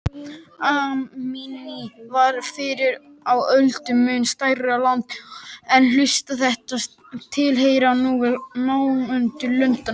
Armenía var fyrr á öldum mun stærra land en hlutar þess tilheyra nú nágrannalöndunum.